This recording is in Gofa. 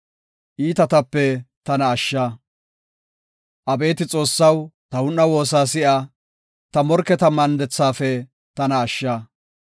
Abeeti Xoossaw, ta un7a woosa si7a; ta morketa mandethafe; tana ashsha.